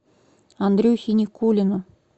андрюхе никулину